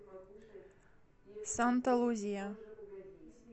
санта лузия